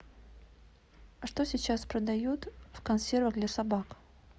а что сейчас продают в консервах для собак